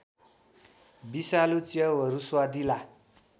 विषालु च्याउहरू स्वादिला